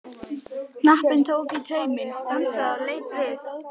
Knapinn tók í tauminn, stansaði og leit við.